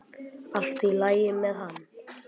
Allt í lagi með hann.